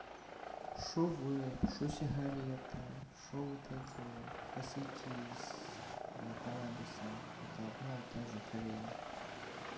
что вейп что сигареты что вот эти вот косяки с каннабисом это одна и та же хрень